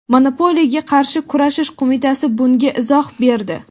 Monopoliyaga qarshi kurashish qo‘mitasi bunga izoh berdi.